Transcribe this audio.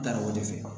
Da o de fɛ